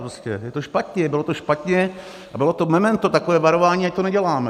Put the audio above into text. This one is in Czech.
Prostě je to špatně, bylo to špatně a bylo to memento, takové varování, ať to neděláme.